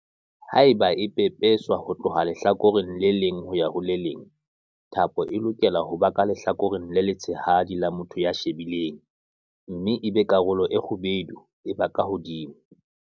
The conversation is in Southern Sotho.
Haeba e pepeswa ho tloha lehlakoreng le leng ho ya ho le leng, thapo e lokela ho ba ka lehlakoreng le letshehadi la motho ya e shebileng mme ebe karolo e kgubedu e ba ka hodimo.